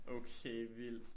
Okay vildt